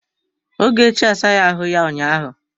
Ogechi asaghi ahụ ya ụnyaahụ.